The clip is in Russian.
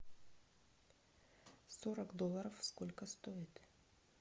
сорок долларов сколько стоит